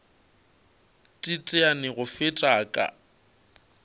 teteane go feta a ka